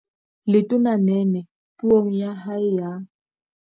Letona Nene Puong ya hae ya